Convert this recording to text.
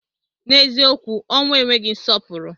N'eziokwu ọnwụ enweghị nsọpụrụ.